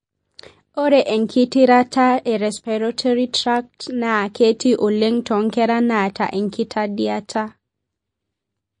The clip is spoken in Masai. ore engitirata e respiratory tract na ketii oleng tonkera naata enkitandiata.